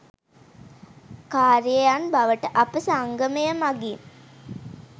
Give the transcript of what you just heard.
කාර්‍යයන් බවට අප සංගමය මගින්